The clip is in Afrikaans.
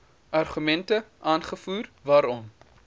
argumente aangevoer waarom